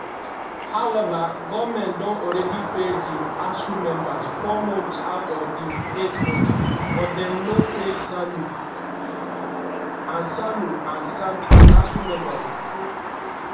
however goment don already pay di asuu members four months out of di eight months but dem no pay ssanu and ssanu and nasu members.